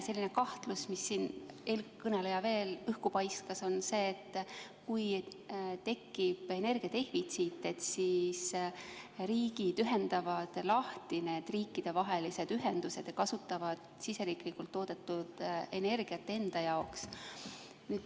Teine kahtlus, mille eelkõneleja veel õhku paiskas, on see, et kui tekib energia defitsiit, siis riigid ühendavad lahti riikidevahelised ühendused ja kasutavad siseriiklikult toodetud energiat enda jaoks.